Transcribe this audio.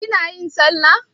Kina yin sallah?